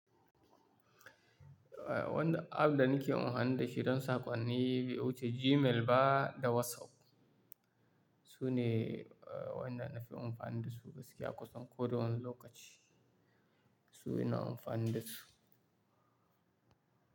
Wanda app da nake amfani da shi don saƙonni bai wuce, Gmail ba da WhatsApp. Su ne wanda na fi amfani da su gaskiya kusan ko da wane lokaci. Su ina amfani da su.